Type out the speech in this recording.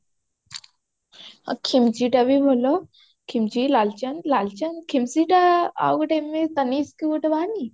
ଖିମଜି ଟା ବି ଭଲ ଖିମଜି ଲାଲଚାନ୍ଦ ଲାଲଚାନ୍ଦ ଖିମଜି ଟା ଆଉ ଗୋଟେ ଏବେ ତନିଷ୍କ ଗୋଟେ ବାହାରିନି